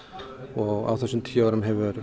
og á þessum tíu árum hefur